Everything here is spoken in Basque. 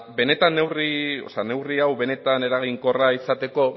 neurri hau benetan eraginkorra izateko